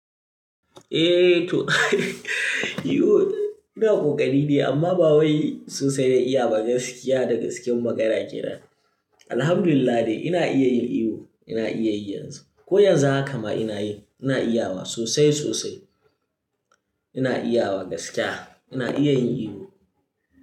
Eh to iwo ina ƙoƙari ne amma ba wai sosai na iya ba gaskiya da gaske magana ke nan. Alhamdulillah dai ina iya yin iwo, ina iya yanzu. Ko yanzu haka ma ina yi, ina iya sosai sosai. Ina iya wa gaskiya, ina iya yin iwo.